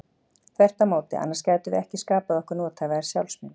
Þvert á móti, annars gætum við ekki skapað okkur nothæfa sjálfsmynd.